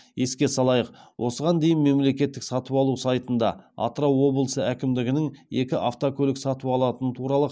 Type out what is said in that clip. еске салайық осыған дейін мемлекеттік сатып алу сайтында атырау облысы әкімдігінің екі автокөлік сатып алатыны туралы